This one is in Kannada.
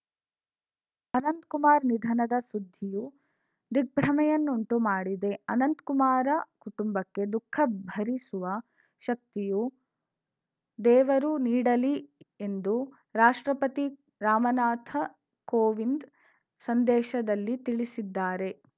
ಅನಂತಕುಮಾರ್‌ ನಿಧನದ ಸುದ್ಧಿಯು ದಿಗ್ಭ್ರಮೆಯನ್ನುಂಟು ಮಾಡಿದೆ ಅನಂತಕುಮಾರ ಕುಟುಂಬಕ್ಕೆ ದುಃಖ ಭರಿಸುವ ಶಕ್ತಿಯು ದೇವರು ನೀಡಲಿ ಎಂದು ರಾಷ್ಟ್ರಪತಿ ರಾಮನಾಥ ಕೋವಿಂದ್‌ ಸಂದೇಶದಲ್ಲಿ ತಿಳಿಸಿದ್ದಾರೆ